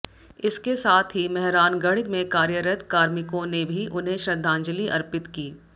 इसके साथ ही मेहरानगढ़ में कार्यरत कार्मिकों ने भी उन्हें श्रद्धांजलि अर्पित की